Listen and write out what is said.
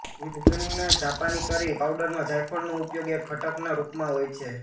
વિભિન્ન જાપાનીકરી પાઉડરમાં જાયફળનો ઉપયોગ એક ઘટકના રૂપમાં હોય છે